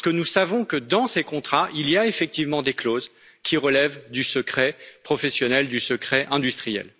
Parce que nous savons que, dans ces contrats, il y a effectivement des clauses qui relèvent du secret professionnel, du secret industriel.